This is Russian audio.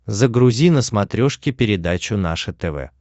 загрузи на смотрешке передачу наше тв